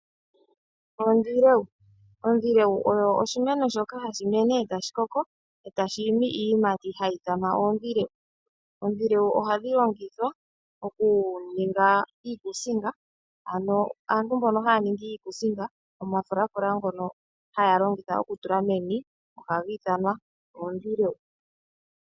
Oondilewu oyo oshimeno shoka hashi mene e tashi koko, e tashi imi iiyimati hayi ithanwa oondilewu. Ondilewu ohadhi longithwa okuninga iikusinga. Ano aantu mbono haya ningi iikusinga, omafulafula ngono haya longitha okutula meni ohaga ithanwa oondilewu.